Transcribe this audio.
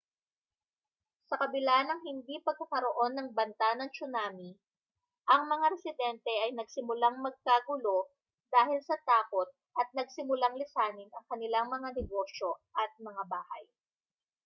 sa kabila ng hindi pagkakaroon ng banta ng tsunami ang mga residente ay nagsimulang magkagulo dahil sa takot at nagsimulang lisanin ang kanilang mga negosyo at mga bahay